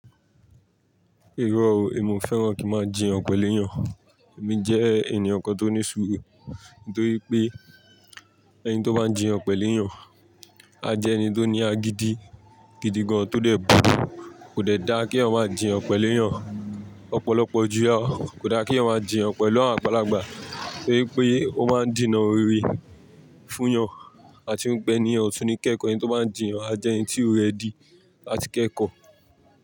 Iró o, èmi ò fẹ́ràn kí n máa jiyàn pẹ̀lú èèyàn. Èmi jé ènìyàn kan tó ní sùúrù, nítorí pé, eni tó bá ń jiyàn pèlú èyàn, a jé eni tó ní àgìdì gidi gòn, tó dé burú. Kò dẹ̀ da kí èyàn máa jiyàn pẹ̀lú èèyàn ọ̀pọ̀lọpọ̀ jù. Kò da kí èyàn máa jiyàn pẹ̀lú àwọn àgbàlagbà, torí pé ó máa ń dènà òré fún èyàn àti wípé ènìyen ọ̀ tún ní kẹ́kọ̀ọ́, ẹni tó bá ń jiyàn a jẹ́ ẹni tí ó ready làti kẹ́kọ̀ọ́.